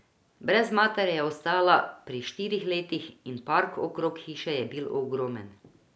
Brez matere je ostala pri štirih letih in park okrog hiše je bil ogromen.